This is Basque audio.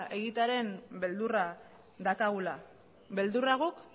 egitearen beldurra daukagula beldurra guk